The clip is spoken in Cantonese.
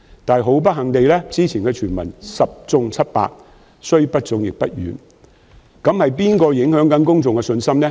但是，不幸地，之前的傳聞十中七八，雖不中，亦不遠，那麼是誰在影響公眾信心呢？